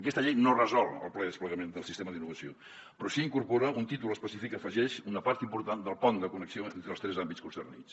aquesta llei no resol el ple desplegament del sistema d’innovació però sí que incorpora un títol específic que afegeix una part important del pont de connexió entre els tres àmbits concernits